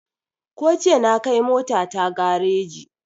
Ko jiya na kai mota ta gareji